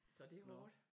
Så det hårdt